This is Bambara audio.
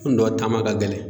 Kunun dɔ taama ka gɛlɛn